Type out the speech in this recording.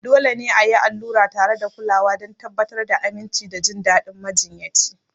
Dole ne a yi allura tare da kulawa don tabbatar da aminci da jin daɗin majiyyaci.